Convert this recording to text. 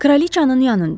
Kraliçanın yanında.